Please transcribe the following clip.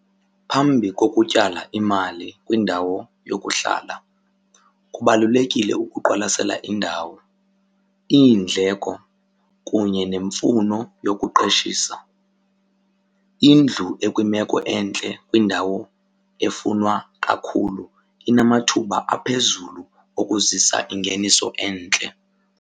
Phambi kokutyala imali kwindawo yokuhlala kubalulekile ukuqwalasela indawo, iindleko kunye nemfuno yokuqeshisa. Indlu ekwimeko entle kwindawo efunwa kakhulu inamathuba aphezulu okuzisa ingeniso entle.